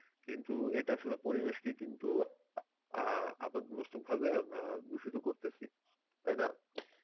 কিন্তু এটা আসলে পরিবেশকে কিন্তু অ্যাঁ আপদ মস্তক ভাবে আমরা দূষিত করতেছি, তাই না?